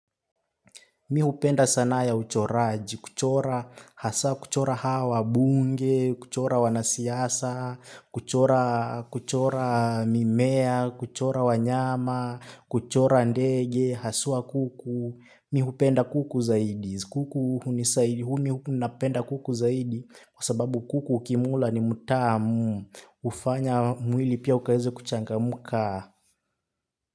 Mi hupenda sana ya uchoraji, kuchora hasa, kuchora hawa, wabunge, kuchora wanasiasa, kuchora mimea, kuchora wanyama, kuchora ndege, haswa kuku. Mi hupenda kuku zaidi, kuku hunisaidia, huu mi hupenda kuku zaidi kwa sababu kuku ukimla ni mtamu, hufanya mwili pia ukawezebkuchangamuka.